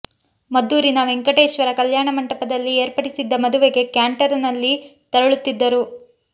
ಮದ್ದೂರಿನ ವೆಂಕಟೇಶ್ವರ ಕಲ್ಯಾಣ ಮಂಟಪದಲ್ಲಿ ಏರ್ಪಡಿಸಿದ್ದ ಮದುವೆಗೆ ಕ್ಯಾಂಟರ್ ನಲ್ಲಿ ತೆರಳುತ್ತಿದ್ದರು